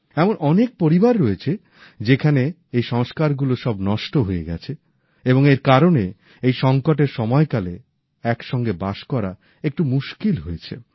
এমন অনেক পরিবার রয়েছে যেখানে এই সংস্কারগুলো সব নষ্ট হয়ে গেছে এবং এর কারণে এই সঙ্কটের সময়কালে একসঙ্গে বাস করা একটু মুশকিল হয়েছে